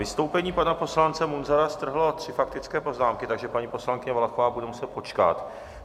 Vystoupení pana poslance Munzara strhlo tři faktické poznámky, takže paní poslankyně Valachová bude muset počkat.